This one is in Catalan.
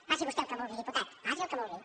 faci vostè el que vulgui diputat faci el que vulgui